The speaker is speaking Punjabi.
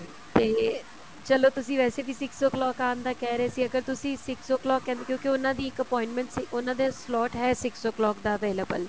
ਤੇ ਚਲੋ ਤੁਸੀਂ ਵੈਸੇ ਵੀ six o clock ਆਣ ਦਾ ਕਹਿ ਰਹੇ ਸੀ ਅਗਰ ਤੁਸੀਂ six o clock ਕਹਿੰਦੇ ਹੋ ਕਿਉਕੀ ਉਹਨਾ ਦੀ ਇੱਕ appointment ਉਹਨਾ ਦੇ slot ਹੈ six o clock ਦਾ available